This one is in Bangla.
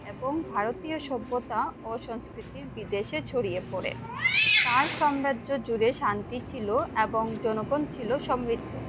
এবং ভারতীয় সভ্যতা ও সংস্কৃতির বিদেশে ছড়িয়ে পড়ে তার সম্রাজ্য জুড়ে শান্তি ছিল এবং জনগণ ছিল সমৃদ্ধ